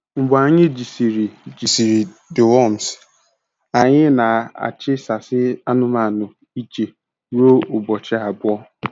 Mgbe anyị jisịrị jisịrị deworms, anyị na-achisasi ụmanụmanu iche ruo ụbọchị abụọ.